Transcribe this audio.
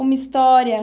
Uma história.